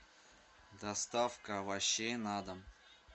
доставка овощей на дом